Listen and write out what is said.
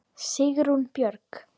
Sigrún Björg.